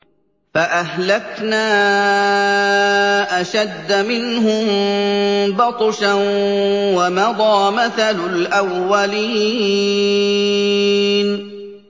فَأَهْلَكْنَا أَشَدَّ مِنْهُم بَطْشًا وَمَضَىٰ مَثَلُ الْأَوَّلِينَ